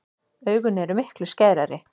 Augun eru miklu skærari.